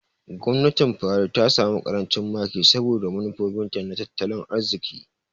Gwamnatin Buhari ta samu ƙarancin maki saboda manufofinta na tattalin arziki.